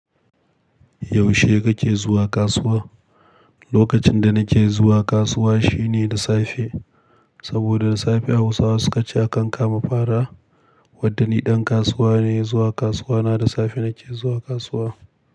Yaushe kake zuwa kasuwa? Lokacin da nake zuwa kasuwa shine da safe, saboda da safe Hausawa suka ce a kan kama fara. Wanda ni ɗan kasuwa ne, zuwa kasuwa na da safe nake zuwa kasuwa.